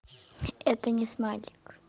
это не смайлик